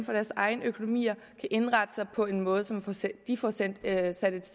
deres egne økonomier på en måde så de får sat et